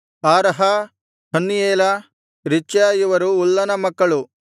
ಆರಹ ಹನ್ನಿಯೇಲ ರಿಚ್ಯ ಇವರು ಉಲ್ಲನ ಮಕ್ಕಳು